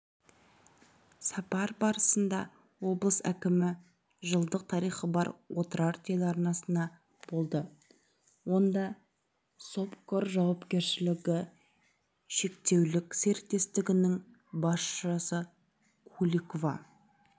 сапары барысында облыс әкімі жылдық тарихы бар отырар телеарнасында болды онда собкор жауапкершілігі шектеулісеріктестігінің басшысы куликова